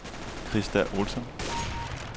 Krista Olsson